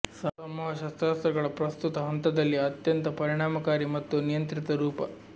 ಸಮೂಹ ಶಸ್ತ್ರಾಸ್ತ್ರಗಳ ಪ್ರಸ್ತುತ ಹಂತದಲ್ಲಿ ಅತ್ಯಂತ ಪರಿಣಾಮಕಾರಿ ಮತ್ತು ನಿಯಂತ್ರಿತ ರೂಪ